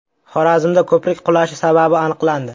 Xorazmda ko‘prik qulashi sababi aniqlandi.